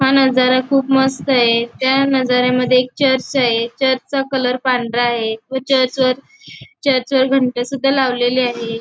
हा नजारा खूप मस्त आहे त्या नजाऱ्यामध्ये एक चर्च आहे चर्चा कलर पांढरा आहे व चर्च वर घंटी सुद्धा लावलेले आहे.